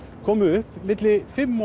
komu upp milli fimm